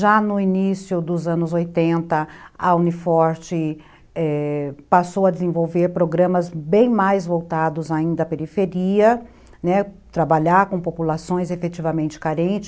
Já no início dos anos oitenta, a Uni Forte, é... passou a desenvolver programas bem mais voltados ainda à periferia, né, trabalhar com populações efetivamente carentes.